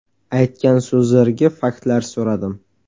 Aytgan so‘zlariga faktlar so‘radim.